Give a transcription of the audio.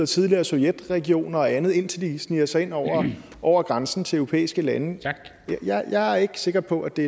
tidligere sovjetregioner og andet indtil de sniger sig ind over over grænsen til europæiske lande jeg er ikke sikker på at det